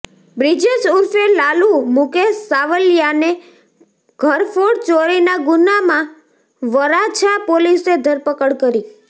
બ્રિજેશ ઉર્ફે લાલુ મુકેશ સાવલિયાને ઘરફોડ ચોરીના ગુન્હામાં વરાછા પોલીસે ધરપકડ કરી